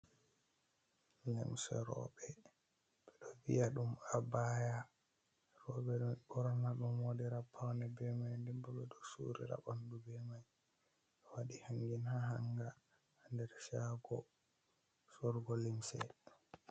Limse roɓe, ɓe ɗo vi'a ɗum abaya. Roɓe ɗon ɓorna ɗum waɗira paune be mai, nden bo ɓe ɗo suurira ɓandu be mai. Ɗo waɗi hangin ha hangaa nder shago sorugo limse.